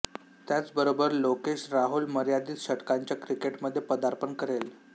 त्याचबरोबर लोकेश राहुल मर्यादित षटकांच्या क्रिकेटमध्ये पदार्पण करेल